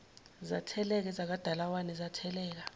zatheleka ezikadalawane zatheleka